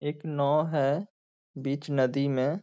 एक नाव है बीच नदी में।